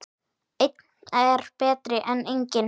Einn er betri en enginn!